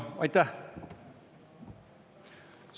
Aitäh!